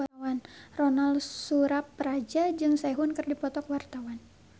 Ronal Surapradja jeung Sehun keur dipoto ku wartawan